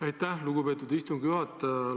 Aitäh, lugupeetud istungi juhataja!